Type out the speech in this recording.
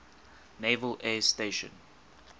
naval air station